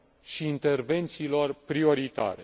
și intervențiilor prioritare.